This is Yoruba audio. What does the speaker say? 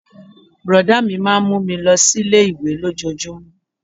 Brọ̀dá mi máà ń mú mi lọ sí ilé-ìwé lójojúmó